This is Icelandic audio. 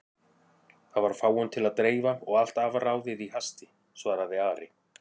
Það var fáum til að dreifa og allt afráðið í hasti, svaraði Ari.